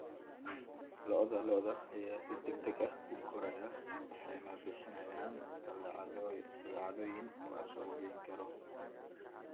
Lo'da lo'da ayaa si degdeg ah u koraya waxayna bixiyaan badeecooyin la suuq geyn karo.